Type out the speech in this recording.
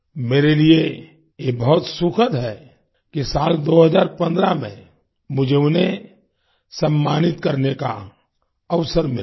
मेरे लिए ये बहुत सुखद है कि साल 2015 में मुझे उन्हें सम्मानित करने का अवसर मिला था